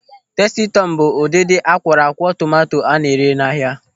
Tasti Tọm bụ ụdịdị akwọrọakwọ tomanto a na-ere n'ahia.